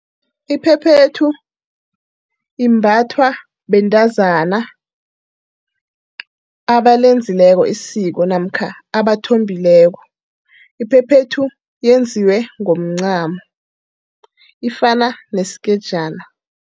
Iphephethu imbathwa bentazana abalenzileko isiko namkha abathombileko. Iphephethu yenziwe ngomncamo. Ifana neskejana.